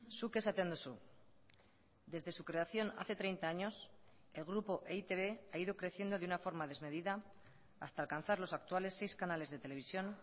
zuk esaten duzu desde su creación hace treinta años el grupo e i te be ha ido creciendo de una forma desmedida hasta alcanzar los actuales seis canales de televisión